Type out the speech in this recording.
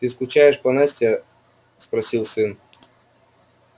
ты скучаешь по насте спросил сын